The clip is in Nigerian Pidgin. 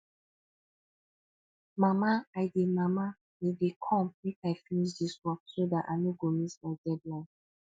mama i dey mama i dey come make i finish dis work so dat i no go miss my deadline